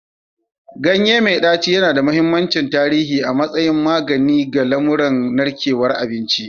Ganye mai ɗaci yana da mahimmancin tarihi a matsayin magani ga lamuran narkewar abinci.